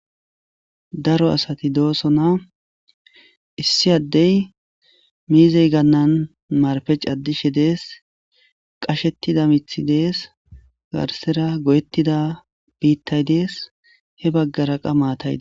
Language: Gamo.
daro asati dooso na issi addey miizey gannan marpec addishe dees qashettida mithi dees garsera goyettida biittay dees he baggara qa maataydi